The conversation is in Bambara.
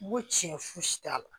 N ko tiɲɛ fosi t'a la